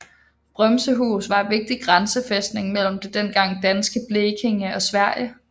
Brømsehus var en vigtig grænsefæstning mellem det dengang danske Blekinge og Sverige